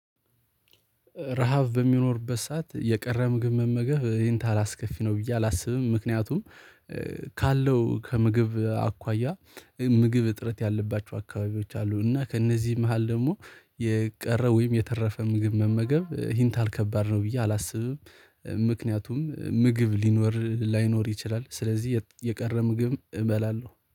ረሃብ በሚኖርበት ሰዓት የቀረ ምግብ መመገብ ይሄን ታህል አስከፊ ነው ብዬ አላስብም። ምክንያቱም ካለው ከምግብ አኳያ ምግብ እጥረት ያለባቸው አካባቢዎች አሉ። እና ከእነዚህ መሃል ደግሞ የቀረው ወይም የተረፈ ምግብ መመገብ ይህን ተህል ከባድ ነው ብዬ አላስብም። ምክንያቱም ምግብ ሊኖር ላይኖር ይችላል ስለዚህ የቀረ ምግብ እበላለሁ